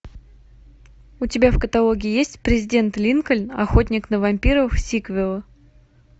у тебя в каталоге есть президент линкольн охотник на вампиров сиквел